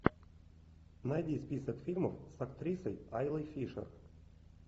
найди список фильмов с актрисой айлой фишер